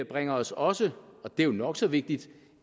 bringer os også og det er jo nok så vigtigt